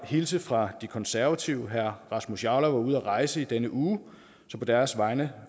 hilse fra de konservative herre rasmus jarlov er ude at rejse i denne uge og på deres vegne